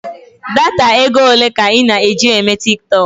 Data ego ole ka ị na-eji eme tiktọk?